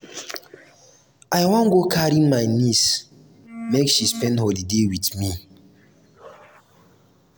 i wan go carry my neice make she spend holiday wit me.